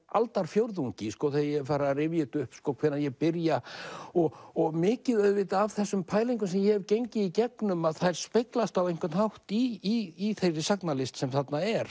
aldarfjórðungi þegar ég fer að rifja upp hvenær ég byrja og og mikið af þessum pælingum sem ég hef gengið í gegnum að þær speglast á einhvern hátt í þeirri sagnalist sem þarna er